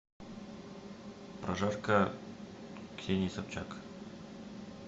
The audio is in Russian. прожарка ксении собчак